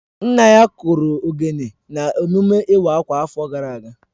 Nna ya kụrụ ogene na emume iwa akwa afo gara aga